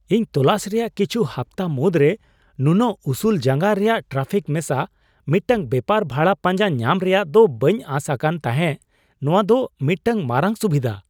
ᱤᱧ ᱛᱚᱞᱟᱥ ᱨᱮᱭᱟᱜ ᱠᱤᱪᱷᱩ ᱦᱟᱯᱛᱟ ᱢᱩᱫᱽᱨᱮ ᱱᱩᱱᱟᱹᱜ ᱩᱥᱩᱞ ᱡᱟᱸᱜᱟ ᱨᱮᱭᱟᱜ ᱴᱨᱟᱯᱷᱤᱠ ᱢᱮᱥᱟ ᱢᱤᱫᱴᱟᱝ ᱵᱮᱯᱟᱨ ᱵᱷᱟᱲᱟ ᱯᱟᱸᱡᱟ ᱧᱟᱢ ᱨᱮᱭᱟᱜ ᱫᱚ ᱵᱟᱹᱧ ᱟᱥ ᱟᱠᱟᱱ ᱛᱟᱦᱮᱸ ᱼ ᱱᱚᱶᱟ ᱫᱚ ᱢᱤᱫᱴᱟᱝ ᱢᱟᱨᱟᱝ ᱥᱩᱵᱤᱫᱷᱟ ᱾